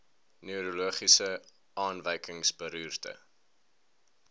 neurologiese afwykings beroerte